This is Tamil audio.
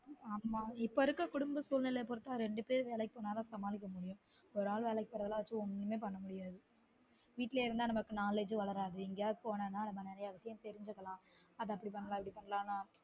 ஆமா இப்ப இருக்குற குடும்ப சூழ்நிலைக்கு ரெண்டு பேரும் வேலைக்கு போனா தான் சமாளிக்க முடியும் ஒரு ஆள் வேலைக்கு போறத வச்சு ஒன்னுமே பன்ன முடியாது வீட்லயே இருந்தா நம்மக்கு knowledge வளராது எங்கயாவது போனா தான் நாம்ம நெறய விசயம் தெரிஞ்சுக்குலான் அத அப்படி பண்ணலான் இத பண்ணலான் னு